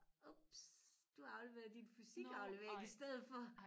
Ups du har afleveret din fysikaflevering i stedet for